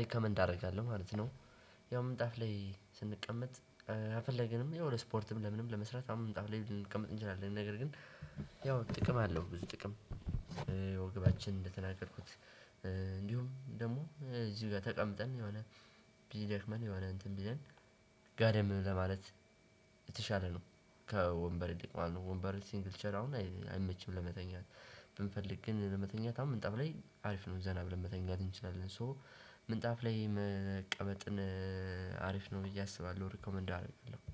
ሪከመንድ አደርጋለሁ ማለት ነው። ያው ምንጣፍ ላይ ስንቀመጥ የፈለገንም ያው ለስፖርትም ለምንም ለመስራት ያው ምንጣፍ ላይ ልንቀመጥ እንችላለን ነገር ግን ያው ጥቅም አለው ብዙ ጥቅም። ወገባችን እንደተናገርኩት እንዲሁም ደግሞ እዚህ ጋር ተቀምጠን የሆነ ቢደክመን የሆነ እንትን ቢለን ጋደም ለማለት የተሻለ ነው። ከወንበር ይልቅ ማለት ነው። ወንበር ሲንግልቸር አሁን አይመችም ለመተኛት ብንፈልግ ግን ለመተኛት አሁን ምንጣፍ ላይ አሪፍ ነው ዘና ብለን ለመተኛት እንችላለን። ሶ ምንጣፍ ላይ መቀመጥን አሪፍ ነው ብዬ አስባለሁ ሪኮመንድ አደርግልሃለሁ